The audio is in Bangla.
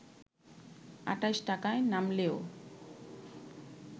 ২৮ টাকায় নামলেও